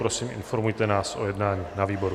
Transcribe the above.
Prosím, informujte nás o jednání na výboru.